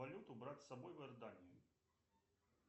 валюту брать с собой в иорданию